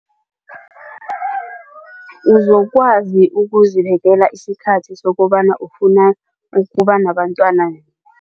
Uzokwazi ukuzibekela isikhathi sokobana ufuna ukuba nabentwana